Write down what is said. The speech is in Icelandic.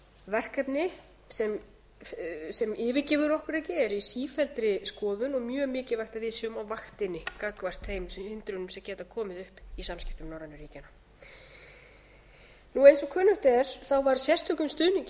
verkefni sem yfirgefur okkur ekki er í sífelldri skoðun og mjög mikilvægt að við séum á vaktinni gagnvart þeim hindrunum sem geta komið upp í samskiptum norrænu ríkjanna eins og kunnugt er var sérstökum stuðningi við